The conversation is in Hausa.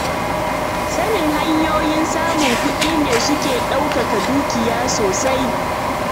Sanin hanyoyin samun kuɗi su ne suke yauƙaƙa dukiya sosai.